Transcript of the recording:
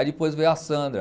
Aí depois veio a Sandra.